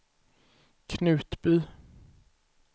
Knutby